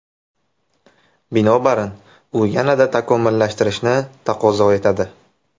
Binobarin, u yanada takomillashtirishni taqozo etadi.